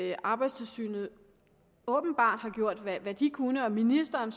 at arbejdstilsynet åbenbart har gjort hvad hvad det kunne og at ministeren